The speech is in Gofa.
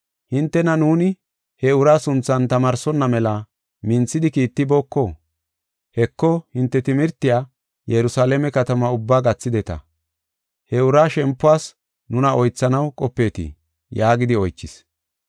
“Hintena nuuni he uraa sunthan tamaarsonna mela minthidi kiittibooko? Heko, hinte timirtiya Yerusalaame katamaa ubba gathideta. He uraa shempuwas nuna oythanaw qopeetii?” yaagidi oychis.